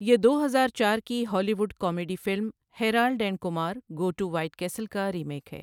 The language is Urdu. یہ دو ہزار چار کی Hollywood comedy film Harold and Kumar go to White Castle کا ریمیک ہے۔